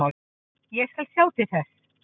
Ég skal sjá til þess.